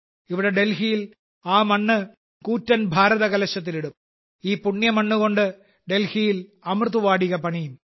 ഇവിടെ ഡൽഹിയിൽ ആ മണ്ണ് കൂറ്റൻ ഭാരതകലശത്തിൽ ഇടും ഈ പുണ്യമണ്ണുകൊണ്ട് ഡൽഹിയിൽ അമൃത് വാടിക പണിയും